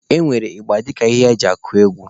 E nwere ịgba dịka ihe eji akụ egwu.